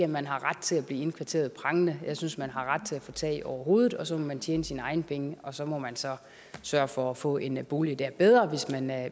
man har ret til at blive indkvarteret prangende jeg synes at man har ret til at få tag over hovedet og så må man tjene sine egne penge og så må man så sørge for at få en bolig der er bedre